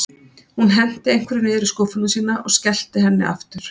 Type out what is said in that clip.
Hún henti einhverju niður í skúffuna sína og skellti henni aftur.